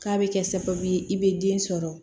K'a bɛ kɛ sababu ye i bɛ den sɔrɔ